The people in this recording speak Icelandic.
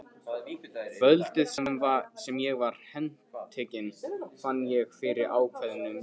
Kvöldið sem ég var handtekinn fann ég fyrir ákveðnum létti.